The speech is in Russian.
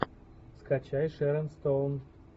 скачай шэрон стоун